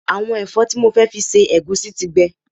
Àwọn ẹ̀fọ́ tí mo fẹ́ fi se ẹ̀gúsí ti gbẹ